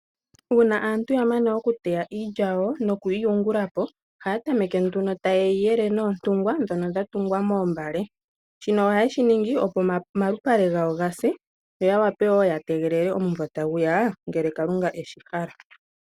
Uuna aantu ya mana okuteya iilya yawo nokuyi yungula po, ohaya tameke nduno taye yi yele noontungwa ndhono dha tungwa moombale. Shino ohaye shi ningi, opo omalupale gawo ga se, yo ya wape wo ya tegelele omuvo tagu ya ngele Kalunga e shi hala.